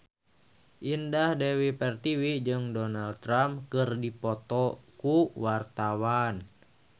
Indah Dewi Pertiwi jeung Donald Trump keur dipoto ku wartawan